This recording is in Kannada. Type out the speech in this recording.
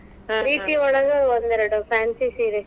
ಒಳಗೆ ಒಂದೆರಡು ಫ್ಯಾನ್ಸಿ ಸೀರೆ.